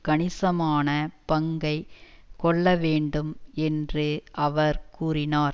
கணிசமான பங்கை கொள்ள வேண்டும் என்று அவர் கூறினார்